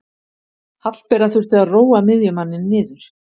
Hallbera þurfti að róa miðjumanninn niður.